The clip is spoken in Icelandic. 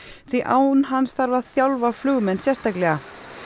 því án hans þarf að þjálfa flugmenn sérstaklega